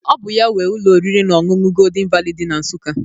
Ọ bụ ya nwe ụlọ oriri na ọṅụṅụ Goldin Vali dị na Nsụka.